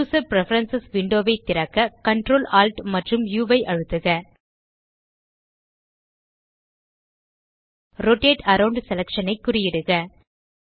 user preference window ஐ திறக்க Ctrl Alt ஆம்ப் உ ஐ அழுத்துக ரோட்டேட் அரவுண்ட் செலக்ஷன் ஐ குறியிடுக